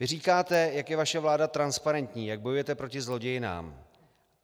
Vy říkáte, jak je vaše vláda transparentní, jak bojujete proti zlodějnám.